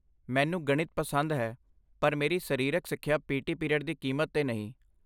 ਮੈਨੂੰ ਗਣਿਤ ਪਸੰਦ ਹੈ ਪਰ ਮੇਰੀ ਸਰੀਰਕ ਸਿੱਖਿਆ ਪੀ ਟੀ ਪੀਰੀਅਡ ਦੀ ਕੀਮਤ ਤੇ ਨਹੀਂ